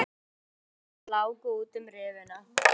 Nokkur korn láku út um rifuna.